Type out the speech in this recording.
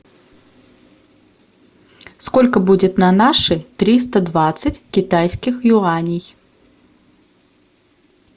сколько будет на наши триста двадцать китайских юаней